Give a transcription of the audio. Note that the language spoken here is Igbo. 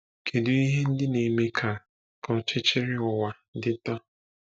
Kedu ihe ndị na-eme ka ka ọchịchịrị ụwa dị taa?